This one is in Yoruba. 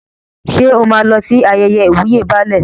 Ṣé o máa lọ sí ayẹyẹ ìwúyè Baálẹ̀?